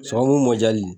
Sababu mɔ diyali